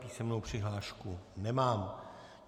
Písemnou přihlášku nemám.